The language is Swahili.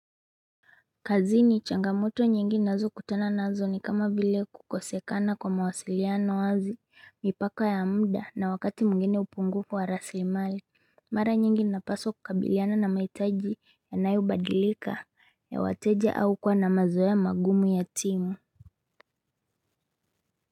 Kazini changamoto nyingi nazokutana nazo ni kama vile kukosekana kwa mawasiliano wazi mipaka ya muda na wakati mwingine upungufu wa rasilimali Mara nyingi napaswa kukabiliana na mahitaji yanayobadilika ya wateja au kuwa na mazoea magumu ya timu.